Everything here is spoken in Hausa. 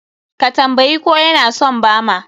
Ka tambayi ko ya na son bama?